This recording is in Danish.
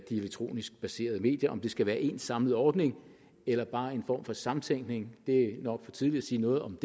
elektronisk baserede medier om det skal være en samlet ordning eller bare en form for samtænkning er det nok for tidligt at sige noget om